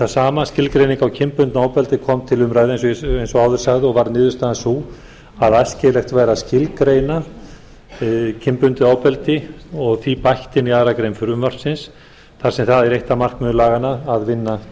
það sama skilgreining á kynbundnu ofbeldi kom til umræðu eins og áður sagði og var niðurstaðan sú að æskilegt væri að skilgreina kynbundið ofbeldi og því bætt inn í annarri grein frumvarpsins þar sem það er eitt af markmiðum laganna að vinna